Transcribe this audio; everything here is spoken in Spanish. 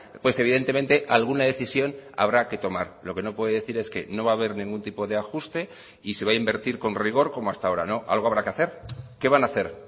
pues evidentemente alguna decisión habrá que tomar lo que no puede decir es que no va a haber ningún tipo de ajuste y se va a invertir con rigor como hasta ahora no algo habrá que hacer qué van a hacer